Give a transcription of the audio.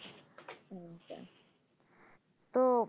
তো